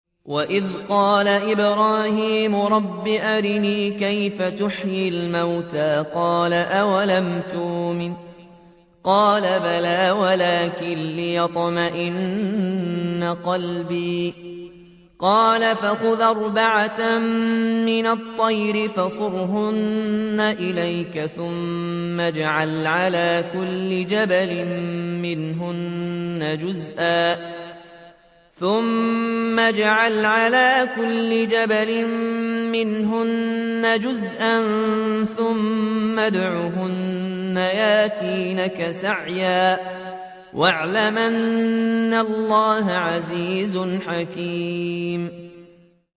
وَإِذْ قَالَ إِبْرَاهِيمُ رَبِّ أَرِنِي كَيْفَ تُحْيِي الْمَوْتَىٰ ۖ قَالَ أَوَلَمْ تُؤْمِن ۖ قَالَ بَلَىٰ وَلَٰكِن لِّيَطْمَئِنَّ قَلْبِي ۖ قَالَ فَخُذْ أَرْبَعَةً مِّنَ الطَّيْرِ فَصُرْهُنَّ إِلَيْكَ ثُمَّ اجْعَلْ عَلَىٰ كُلِّ جَبَلٍ مِّنْهُنَّ جُزْءًا ثُمَّ ادْعُهُنَّ يَأْتِينَكَ سَعْيًا ۚ وَاعْلَمْ أَنَّ اللَّهَ عَزِيزٌ حَكِيمٌ